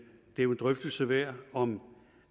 jo er en drøftelse værd om